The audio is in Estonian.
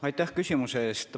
Aitäh küsimuse eest!